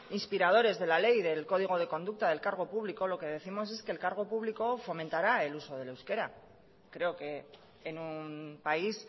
inspiradores de la ley del código de conducta del cargo público lo que décimos es que el cargo público fomentará el uso del euskera creo que en un país